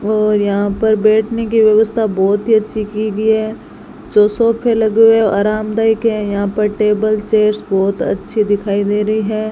और यहां पर बैठने की व्यवस्था बहुत ही अच्छी की गई है तो सोफे लगे हुए आरामदायक हैं यहां पर टेबल चेयर्स बहुत अच्छी दिखाई दे रही है।